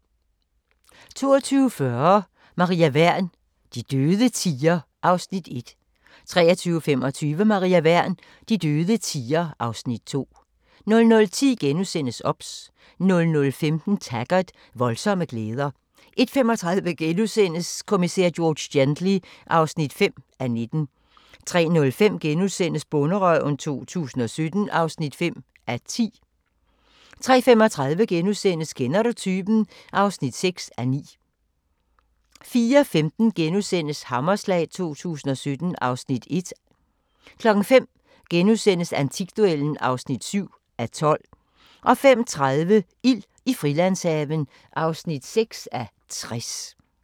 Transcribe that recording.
22:40: Maria Wern: De døde tier (Afs. 1) 23:25: Maria Wern: De døde tier (Afs. 2) 00:10: OBS * 00:15: Taggart: Voldsomme glæder 01:35: Kommissær George Gently (5:19)* 03:05: Bonderøven 2017 (5:10)* 03:35: Kender du typen? (6:9)* 04:15: Hammerslag 2017 (Afs. 1)* 05:00: Antikduellen (7:12)* 05:30: Ild i Frilandshaven (6:60)